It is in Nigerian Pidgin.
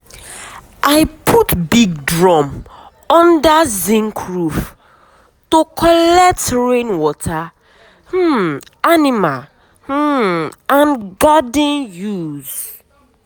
rain stop too early last year na last year na why half of my okra spoil.